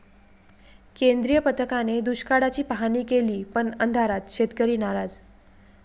केंद्रीय पथकाने दुष्काळाची पाहाणी केली पण अंधारात, शेतकरी नाराज!